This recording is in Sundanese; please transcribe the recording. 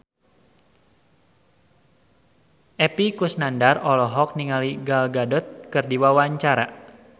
Epy Kusnandar olohok ningali Gal Gadot keur diwawancara